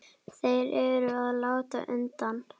Þeir eru að láta undan.